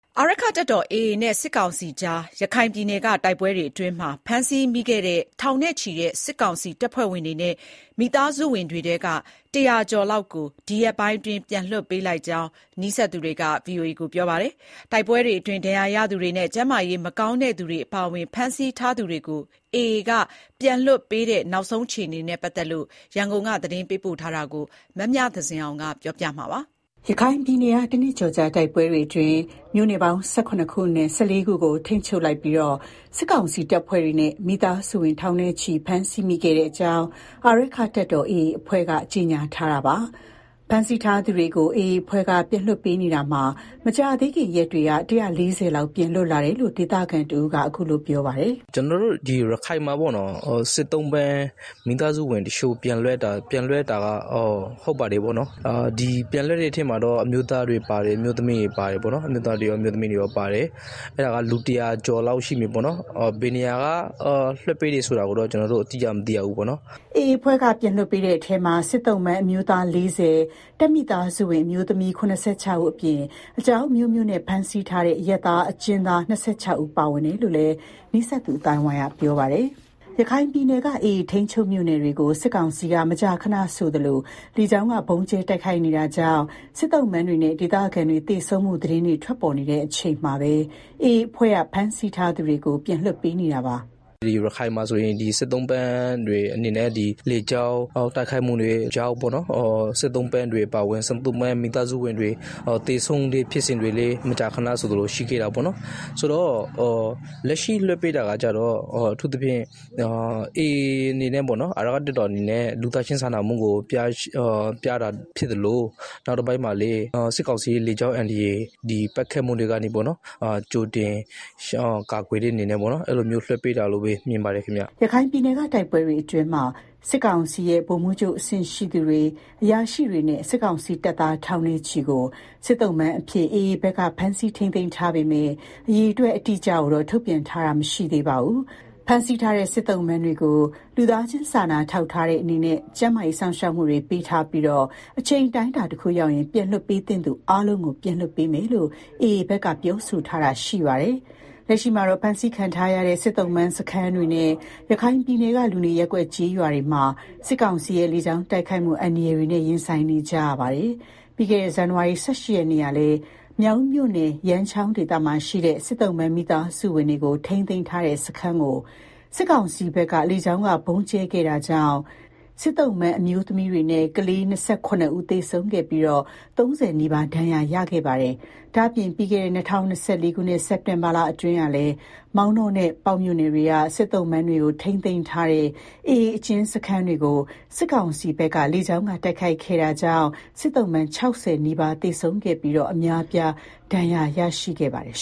အာရက္ခတပ်တော် AAနဲ့ စစ်ကောင်စီကြား ရခိုင်ပြည်နယ်ကတိုက်ပွဲအတွင်း ဖမ်းဆီးမိခဲ့တဲ့ ထောင်နဲ့ ချီတဲ့ စစ်ကောင်စီတပ်ဖွဲ့ဝင်တွေနဲ့ မိသားစုဝင်တွေထဲက ၁၀၀ ကျော်လောက်ကို ဒီရက်ပိုင်းအတွင်း ပြန်လွှတ်ပေးလိုက်ကြောင်း နီးစပ်သူတွေက ပြောပါတယ်။ တိုက်ပွဲတွေအတွင်း ဒဏ်ရာရသူတွေနဲ့ ကျန်းမာရေးမကောင်းသူတွေအပါအဝင် ဖမ်းဆီးထားသူတွေကို AA အဖွဲ့က ပြန်လွှတ်ပေးနေတဲ့ နောက်ဆုံးအခြေအနေ ရန်ကုန်က သတင်းပေးပို့ထားပါတယ်။ ရခိုင်ပြည်နယ်က တနှစ်ကျော်ကြာတိုက်ပွဲတွေအတွင်း မြို့နယ်ပေါင်း ၁၇ ခုအနက် ၁၄ ခုကို ထိန်းချုပ် လိုက်ပြီး စစ်ကောင်စီတပ်ဖွဲ့တွေနဲ့ မိသားစုဝင် ထောင်နဲ့ချီဖမ်းဆီးမိခဲ့ကြောင်း အာရက္ခတပ်တော် AA အဖွဲ့က ကြေညာထားပါတယ်။ ဖမ်းဆီးထားသူတွေကို AA အဖွဲ့က ပြန်လွှတ်ပေးနေရာမှာ မကြာသေး ခင်ရက်တွေက လူ ၁၄၀ လောက် ပြန်လွတ်လာတယ်လို့လည်း ဒေသခံတယောက်က အခုလို ပြောပါတယ်။ “ကျနော်တို့ရခိုင်မှာ စစ်သုံ့ပန်းတွေနဲ့ မိသားစုဝင်တချို့ ပြန်လွတ်တာက ဟုတ်ပါတယ်။ ပြန်လွတ်တဲ့ ထဲမှာတော့ အမျိုးသားတွေရော အမျိုးသမီးတွေရောပါတယ်။ လူ ၁၀၀ကျော်လောက်ရှိမယ် ပေါ့နော်၊ ဘယ်နေရာက လွှတ်ပေးတယ်ဆိုတာကိုတော့ ကျနော်တို့ အတိအကျမသိရဘူးပေါ့နော်။” AA အဖွဲ့က ပြန်လွှတ်ပေးတဲ့အထဲမှာ စစ်သုံ့ပန်းအမျိုးသား ၄၀၊ တပ်မိသားစုဝင် အမျိုးသမီး ၇၆ ဦး အပြင် အကြောင်းအမျိုးမျိုးနဲ့ ဖမ်းဆီးထားတဲ့ အရပ်သားအကျဉ်းသား ၂၆ ဦး ပါဝင်တယ်လို့လည်း နီးစပ်သူ အသိုင်းအဝိုင်းက ပြောပါတယ်။ ရခိုင်ပြည်နယ်က AA ထိန်းချုပ်မြို့နယ်တွေကို စစ်ကောင်စီက မကြာခဏဆိုသလိုလေကြောင်းဗုံးကြဲ တိုက်ခိုက်နေတာကြောင့် စစ်သုံ့ပန်းတွေနဲ့ ဒေသခံတွေ သေဆုံးမှု သတင်းတွေ ထွက်ပေါ်နေချိန်မှာပဲ AA အဖွဲ့က ဖမ်းဆီးထားသူတွေကို ပြန်လွှတ်ပေးနေတာပါ။ “ရခိုင်မှာဆိုရင် ဒီလေကြောင်းပစ်ခတ်မှုတွေကြောင့် စစ်သုံ့ပန်းတွေနဲ့ မိသား စုဝင်တွေ သေဆုံးတဲ့ ဖြစ်စဉ်တွေလည်းမကြာခဏဆိုသလို ရှိခဲ့တာပေါ့နော်။ လက်ရှိလွှတ်ပေးတာကတော့ အာရက္ခ တပ်တော် AA အနေနဲ့ လူသားချင်းစာနာမှုကိုပြတာဖြစ်သလို နောက်တပိုင်းကတော့ စစ်ကောင်စီရဲ့ လေကြောင်းအန္တရာယ်ပစ်တာတွေကနေ ကြိုတင်ကာကွယ်တဲ့အနေနဲ့ လွှတ်ပေးတာလို့မြင်ပါတယ်။” ရခိုင်ပြည်နယ်ကတိုက်ပွဲတွေအတွင်းမှာ စစ်ကောင်စီရဲ့ ဗိုလ်မှူးချုပ်အဆင့်ရှိသူတွေ၊ အရာရှိတွေနဲ့ စစ်ကောင်စီတပ်သား ထောင်နဲ့ချီကို စစ်သုံ့ပန်းအဖြစ် AA ဘက်က ဖမ်းဆီးထိန်းသိမ်းထားပေမဲ့ အရေအတွက် အတိအကျကိုတော့ ထုတ်ပြန်ထားတာမရှိသေးပါဘူး။ ဖမ်းဆီးထားတဲ့ စစ်သုံ့ပန်းတွေကို လူသားချင်းစာနာထောက်ထားတဲ့အနေနဲ့ ကျန်းမားစောင့်ရှောက်မှုတွေပေးထားပြီး အချိန် အတိုင်း အတာတခုရောက်ရင် ပြန်လွတ်ပေးသင့်သူအားလုံးကိုပြန်လွှတ်ပေးမယ်လို့လည်း AA ဘက်က ပြောဆိုထားတာရှိပါတယ်။ လက်ရှိမှာတော့ ဖမ်းဆီးခံထားရတဲ့ စစ်သုံ့ပန်းစခန်းတွေနဲ့ ရခိုင်ပြည်နယ်က လူနေရပ်ကွက်ကျေးရွာ တွေမှာ စစ်ကောင်စီရဲ့ လေကြောင်းတိုက်ခိုက်မှုအန္တရာယ်တွေနဲ့ ရင်ဆိုင်နေကြရတာပါ။ ပြီးခဲ့တဲ့ ဇန်နဝါရီလ ၁၈ ရက်နေ့ကလည်း မြောက်ဦးမြို့နယ် ရမ်းချောင်းဒေသမှာရှိတဲ့ စစ်သုံ့ပန်းမိသားစုဝင် တွေကိုထိန်းသိမ်းထားတဲ့စခန်းကို စစ်ကောင်စီဘက်က လေကြောင်းဗုံးကြဲခဲ့တာကြောင့် စစ်သုံ့ပန်း အမျိုးသမီးနဲ့ ကလေး ၂၇ ဦးသေဆုံးပြီးတော့ ၃၀ နီးပါးဒဏ်ရာရရှိခဲ့ပါတယ်။ ဒါ့အပြင် ပြီးခဲ့တဲ့ ၂၀၂၄ ခုနှစ် စက်တင်ဘာလအတွင်းမှာလည်း မောင်တောနဲ့ ပေါက်တောမြို့နယ်တွေက စစ်သုံ့ပန်းတွေကို ထိန်းသိမ်းထားတဲ့ AA အကျဉ်းစခန်းတွေကို စစ်ကောင်စီဘက်က လေကြောင်း တိုက်ခိုက်ခဲ့တာကြောင့် စစ်သုံ့ပန်း ၆၀ နီးပါးသေဆုံးခဲ့ပြီး အများအပြားဒဏ်ရာရ ရှိခဲ့ဖူးပါတယ်